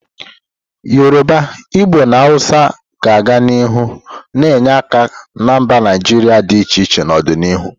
Yoruba, Igbo na Hausa ga-aga n'ihu na-enye aka na mba Naijiria dị iche iche n'ọdịnihu.